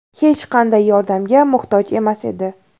Hech qanday yordamga muhtoj emas edi.